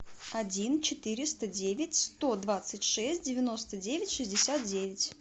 один четыреста девять сто двадцать шесть девяносто девять шестьдесят девять